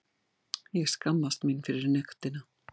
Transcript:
Ég skammast mín fyrir nektina.